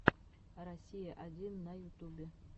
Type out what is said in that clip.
россия один на ютубе